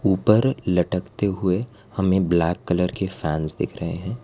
ऊपर लटकते हुए हमें ब्लैक कलर के फैंस दिख रहे हैं।